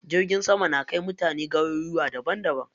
Jirgin sama na kai mutane garuruwa daban daban.